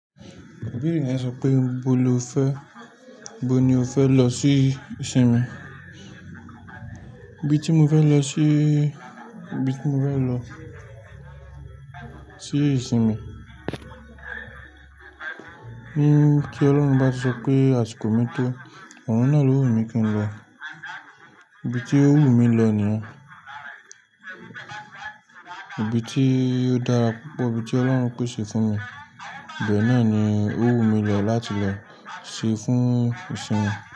Ibere yẹn sọ pé ibo lo fẹ, ibo ni o fẹ lọ sí ìsinmi? Ibi tí mo fẹ lọ síí, ibi tí mo fẹ lọ sí ìsinmi, bí kí Ọlọ́run bá sọ pé àsìkò mi tó, ọ̀run náà ló wù mí kí n lọ. Ibi tí ó wù mí lọ nìyẹn. Ibi tí ó dára púpọ̀, ibi tí Ọlọ́run pèsè fún mi, ibẹ̀ náà ni ó wù mí lọ láti lọ ṣe fún ìsinmi.